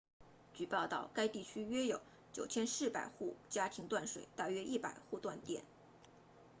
据报道该地区约有9400户家庭断水大约100户断电